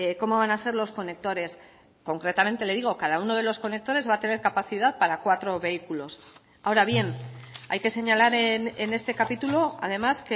cómo van a ser los conectores concretamente le digo cada uno de los conectores va a tener capacidad para cuatro vehículos ahora bien hay que señalar en este capítulo además